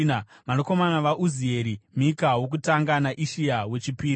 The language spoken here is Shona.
Vanakomana vaUzieri: Mika wokutanga naIshia wechipiri.